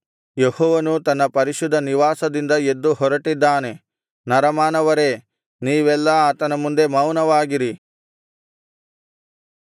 ಯೆಹೋವನು ತನ್ನ ಪರಿಶುದ್ಧ ನಿವಾಸದಿಂದ ಎದ್ದು ಹೊರಟಿದ್ದಾನೆ ನರಮಾನವರೇ ನೀವೆಲ್ಲಾ ಆತನ ಮುಂದೆ ಮೌನವಾಗಿರಿ